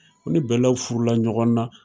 U ne bɛlaw furu la ɲɔgɔn na.